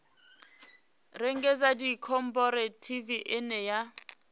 rengisa ndi khophorethivi ine ya